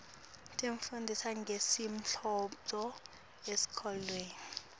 tifundzisa ngemlandvo esikolweni